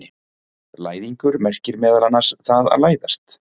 Læðingur merkir meðal annars það að læðast.